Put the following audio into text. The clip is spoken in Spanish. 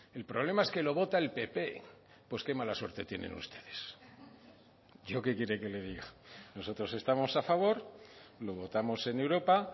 el problema es que lo vota el pp pues qué mala suerte tienen ustedes yo qué quiere que le diga nosotros estamos a favor lo votamos en europa